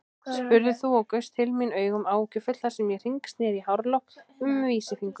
spurðir þú og gaust til mín augum áhyggjufull þar sem ég hringsneri hárlokk um vísifingur.